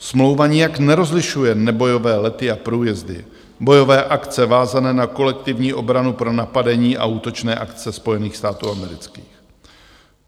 Smlouva nijak nerozlišuje nebojové lety a průjezdy, bojové akce vázané na kolektivní obranu pro napadení a útočné akce Spojených států amerických.